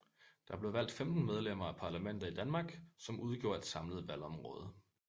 Der blev valgt 15 medlemmer af parlamentet i Danmark som udgjorde et samlet valgområde